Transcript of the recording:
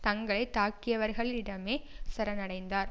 தங்களை தாக்கியவர்களிடமே சரணடைந்தார்